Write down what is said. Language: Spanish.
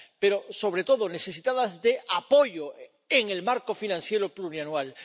Pero, sobre todo, necesitados de apoyo en el marco financiero plurianual.